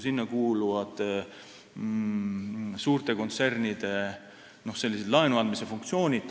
Sinna kuuluvad suurte kontsernide n-ö laenuandmise funktsioonid.